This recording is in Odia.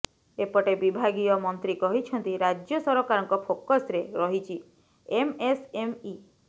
ଏପଟେ ବିଭାଗୀୟ ମନ୍ତ୍ରୀ କହିଛନ୍ତି ରାଜ୍ୟ ସରକାରଙ୍କ ଫୋକସ୍ରେ ରହିଛି ଏମ୍ଏସ୍ଏମ୍ଇ